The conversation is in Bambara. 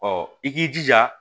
Ɔ i k'i jija